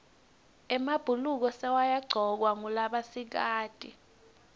emabhuluko sekayagcokwa ngulabasikati